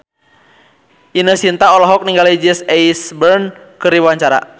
Ine Shintya olohok ningali Jesse Eisenberg keur diwawancara